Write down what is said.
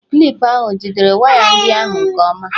Klipụ ahụ o jidere waya ndị ahụ nke ọma?